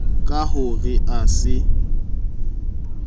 ka ho re a se